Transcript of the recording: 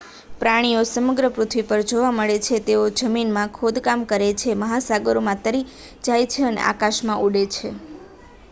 પ્રાણીઓ સમગ્ર પૃથ્વી પર જોવા મળે છે તેઓ જમીનમાં ખોદકામ કરે છે મહાસાગરોમાં તરી જાય છે અને આકાશમાં ઉડે છે